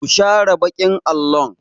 Ku share baƙin allo!